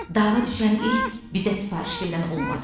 Dava düşən il bizə sifariş verən olmadı.